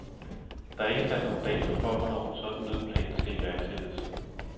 Der er ikke sat nogen dato for, hvornår en sådan nødplan skal iværksættes.